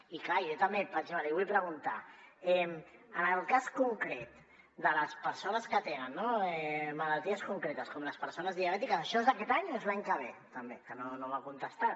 i clar jo també per exemple li vull preguntar en el cas concret de les persones que tenen malalties concretes com les persones diabètiques això és aquest any o és l’any que ve també que no m’ha contestat